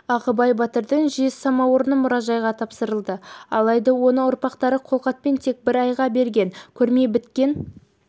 ағыбай батырдың жез самаурыны мұражайға тапсырылды алайда оны ұрпақтары қолхатпен тек бір айға берген көрме біткен